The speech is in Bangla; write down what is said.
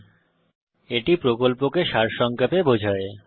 এটি কথ্য টিউটোরিয়াল প্রকল্পকে সারসংক্ষেপে বোঝায়